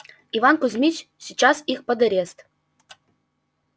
иван кузмич сейчас их под арест